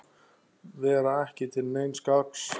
Vera ekki til neins gagns.